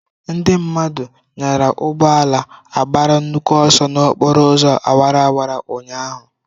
Ndị mmadụ nyara ugbo ala agbara nnukwu ọsọ n'okporo ụzọ awara awara ụnyahụ.